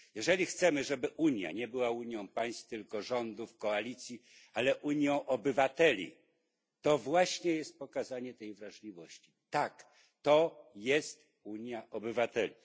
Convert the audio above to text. Jeżeli chcemy, żeby Unia nie była unią państw, rządów, koalicji, ale unią obywateli, to właśnie jest pokazanie tej wrażliwości. Tak, to jest Unia obywateli.